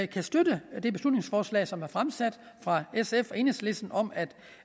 kan støtte det beslutningsforslag som er fremsat fra sf og enhedslisten om at